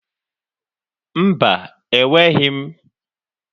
Mba, enweghị m.